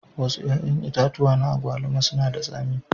Wasu 'ƴa'ƴan itatuwa na agwaluma suna da tsami.